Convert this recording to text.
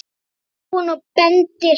spyr hún og bendir.